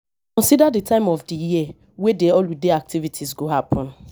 consider di time of di year wey di holiday activity go happen